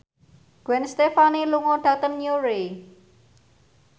Gwen Stefani lunga dhateng Newry